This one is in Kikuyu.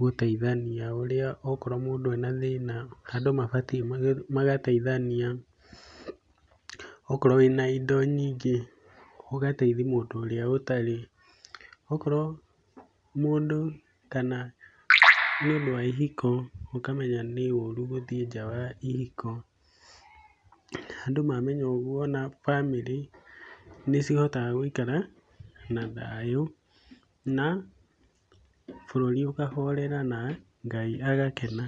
gũteithania ũrĩa okorwo mũndũ ena thĩna andũ mabatiĩ magateithania, okorwo wĩna indo nyingĩ ũgateithia mũndũ ũrĩa ũtarĩ, okorwo mũndũ kana nĩũndũ wa ihiko ũkamenya nĩ ũru gũthiĩ nja wa ihiko. Andũ mamenya ũguo ona bamĩrĩ nĩcihotaga gũikara na thayũ na bũrũri ũkahorera na Ngai agakena.